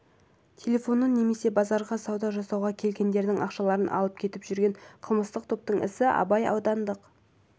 телефонын немесе базарға сауда жасауға келгендердің ақшаларын алып кетіп жүрген қылмыстық топтың ісі абай аудандық